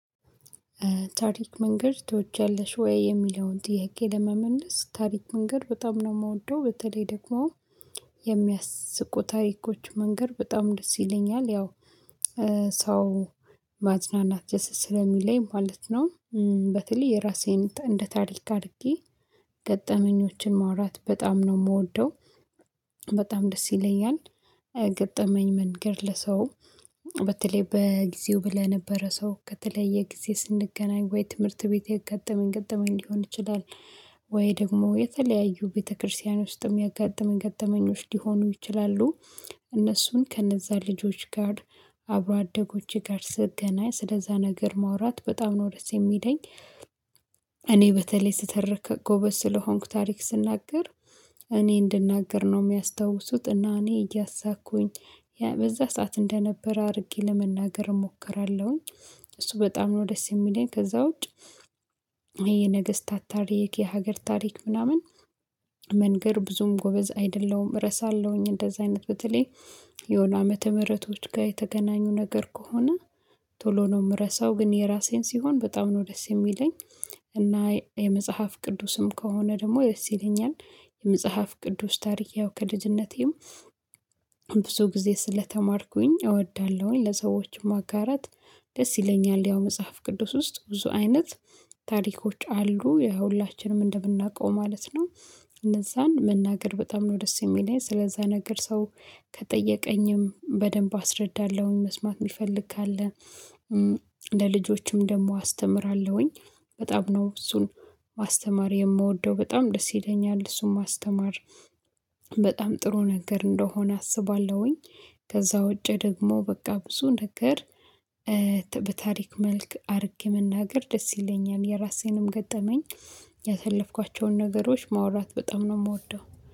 ታሪክ መንገር ትወጃለሽ ወይ? የሚለውን ጥያቄ ለመመለስ ታሪክ መንገር በጣም ነው የምወደው በተለይ ደግሞ የሚያስቁ ታሪኮች መንገር በጣም ደስ ይለኛል ያው ሰው ማዝናናት ደስ ስለሚለኝ ማለት ነው። በተለይ ራሴን እንደ ታሪክ አድርጌ ገጠመኞችን ማውራት በጣም ነው የምወደው በጣም ደስ ይለኛል። ገጠመኝ መንገር ለሰው በተለይ በጊዜው ለነበረ ሰው ከተለየ ጊዜ ስንገናኝ ወይ ትምህርት ቤት የገጠመኝ ገጠመኝ ሊሆን ይችላል። ወይ ደግሞ የተለያዩ ቤተክርስቲያን ውስጥም ያጋጠመኝ ገጠመኞች ሊሆኑ ይችላሉ። እነርሱን ከእነዛ ልጆች ጋር አብሮ አደጎች ጋር ስገናኝ ስለዛ ነገር ማውራት በጣም ነው ደስ የሚሄደኝ። እኔ በተለይ ስተረክ ጎበዝ ስለሆንኩ ታሪክ ስናገር እኔ እንድናገር ነው የሚያስታውሱት እና እኔ እያሳኩኝ በዛ ሰዓት እንደነበረ አድርጌ ለመናገር እሞክራለሁኝ። እሱ በጣም ነው ደስ የሚለኝ ከዛ ውጭ። የነገስታት ታሪክ የሀገር ታሪክ ምናምን መንገር ብዙም ጎበዝ አይደለሁም። እረሳለሁኝ እንደዚህ አይነት በተለይ የሆነ አመተምህረቶች ጋር የተገናኙ ነገር ከሆነ ቶሎ ነው የምረሳው ግን የራሴን ሲሆን በጣም ነው ደስ የሚለኝ። እና የመጽሐፍ ቅዱስም ከሆነ ደግሞ ደስ ይለኛል። የመጽሐፍ ቅዱስ ታሪክ ያው ከልጅነቴም ብዙ ጊዜ ስለተማርኩኝ እወዳለሁኝ። ለሰዎችም ማጋራት ደስ ይለኛል ያው መጽሐፍ ቅዱስ ውስጥ ብዙ አይነት ታሪኮች አሉ የሁላችንም እንደምናውቀው ማለት ነው። እነዛን መናገር በጣም ነው ደስ የሚለኝ ስለዛ ነገር ሰው ከጠየቀኝም በደንብ አስረዳለሁኝ መስማት የሚፈልግ ካለ ለልጆችም ደግሞ አስተምራለሁኝ። በጣም ነው እሱን ማስተማር የምወደው በጣም ደስ ይለኛል እሱን ማስተማር በጣም ጥሩ ነገር እንደሆነ አስባለሁኝ። ከዛ ውጪ ደግሞ በቃ ብዙ ነገር በታሪክ መልክ አድርጌ መናገር ደስ ይለኛል የራሴንም ገጠመኝ ያሳለፍኳቸውን ነገሮች ማውራት በጣም ነው የምወደው